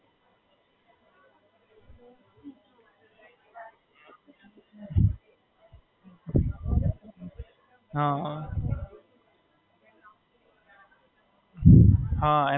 પેલા દોસ્તો હતા સાથે બધા તો બધા રમતા હતા પછી એમને છોડી દીધું પછી મે બી છોડી દીધું.